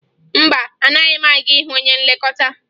Mba, anaghị m aga ịhụ onye nlekọta